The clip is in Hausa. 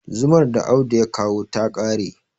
zumar da Audu ya kawo ta kare